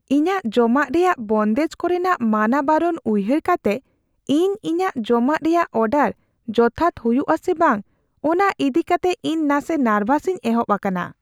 ᱤᱧᱟᱹᱜ ᱡᱚᱢᱟᱜ ᱨᱮᱭᱟᱜ ᱵᱚᱱᱫᱮᱡ ᱠᱚᱨᱮᱱᱟᱜ ᱢᱟᱱᱟ ᱵᱟᱨᱚᱱ ᱩᱭᱦᱟᱹᱨ ᱠᱟᱛᱮ, ᱤᱧ ᱤᱧᱟᱹᱜ ᱡᱚᱢᱟᱜ ᱨᱮᱭᱟᱜ ᱚᱰᱟᱨ ᱡᱚᱛᱷᱟᱛ ᱦᱩᱭᱩᱜᱼᱟ ᱥᱮ ᱵᱟᱝ ᱚᱱᱟ ᱤᱫᱤ ᱠᱟᱛᱮ ᱤᱧ ᱱᱟᱥᱮ ᱱᱟᱨᱵᱷᱟᱥᱤᱧ ᱮᱦᱚᱵ ᱟᱠᱟᱱᱟ ᱾